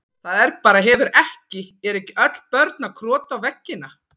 Það er bara, hefur ekki, eru ekki öll börn að krota á veggina?